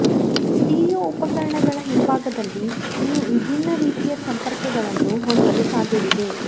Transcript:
stereo ಉಪಕರಣಗಳ ಹಿಂಭಾಗದಲ್ಲಿ ನೀವು ವಿಭಿನ್ನ ರೀತಿಯ ಸಂಪರ್ಕಗಳನ್ನು ಹೊಂದಲು ಸಾಧ್ಯವಿದೆ